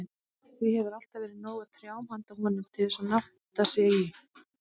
Því hefur alltaf verið nóg af trjám handa honum, til að nátta sig í.